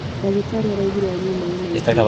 Ndagĩtarĩ araugire anyue maĩ maingĩ